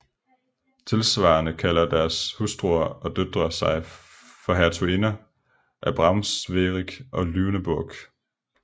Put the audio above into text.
Tilsvarende kalder deres hustruer og døtre sig for hertuginder af Braunschweig og Lüneburg